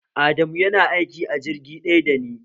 Adamu yana aiki a jirgi ɗaya dani